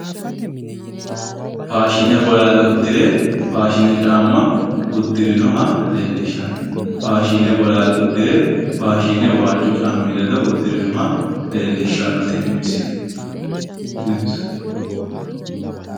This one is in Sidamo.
Fashine bolaale uddire faashine caamma wodhino wedellicha leellishanno misileeti